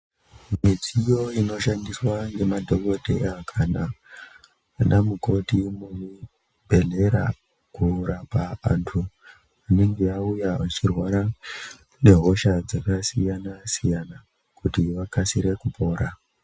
Midziyo inoshandiswa nemadhokodheya kana ana mukoti muzvibhedhlera kurapa antu anenge auya echirwara ngehosha dzakasiyana siyana kuti akasire kupora.